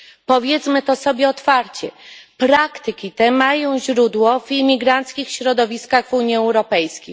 Powiedzmy to sobie otwarcie praktyki te mają źródło w imigranckich środowiskach Unii Europejskiej.